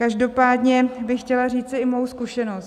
Každopádně bych chtěla říci i svoji zkušenost.